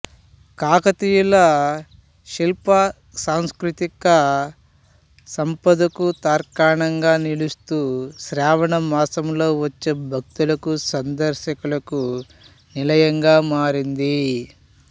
కాకతీయుల శిల్ప సాంస్కృతిక సంపదకు తార్కాణంగా నిలుస్తూ శ్రావణ మాసంలో వచ్చే భక్తులకు సందర్శకులకు నిలయంగా మారింది